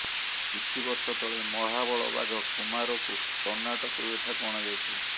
କିଛି ବର୍ଷତଳେ ମହାବଳ ବାଘ କୁମାରକୁ କର୍ଣ୍ଣାଟକରୁ ଏଠାକୁ ଅଣାଯାଇଥିଲା